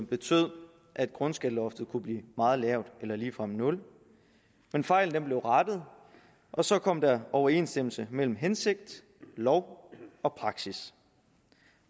betød at grundskatteloftet kunne blive meget lavt eller ligefrem nul men fejlen blev rettet og så kom der overensstemmelse mellem hensigt lov og praksis